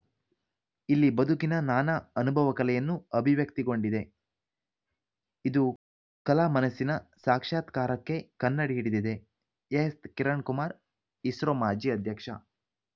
ಇಲ್ಲಿ ಬದುಕಿನ ನಾನಾ ಅನುಭವ ಕಲೆಯನ್ನು ಅಭಿವ್ಯಕ್ತಿಗೊಂಡಿದೆ ಇದು ಕಲಾ ಮನಸ್ಸಿನ ಸಾಕ್ಷ್ಯಾತ್ಕಾರಕ್ಕೆ ಕನ್ನಡಿ ಹಿಡಿದಿದೆ ಎಎಸ್‌ಕಿರಣ್‌ಕುಮಾರ್‌ ಇಸ್ರೋ ಮಾಜಿ ಅಧ್ಯಕ್ಷ